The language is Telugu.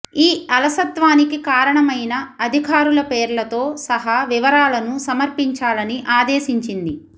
ఈ అలసత్వానికి కారణమైన అధికారుల పేర్లతో సహా వివరాలను సమర్పించాలని ఆదేశించింది